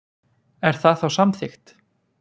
Er það þá samþykkt?